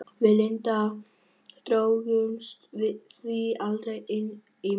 Við Linda drógumst því aldrei inn í Málið.